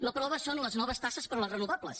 la prova són les noves taxes per a les renovables